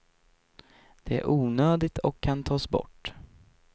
Det är onödigt och kan tas bort.